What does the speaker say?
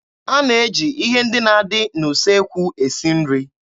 A na-eji ihe ndị na-adị n'usekwu esi nri.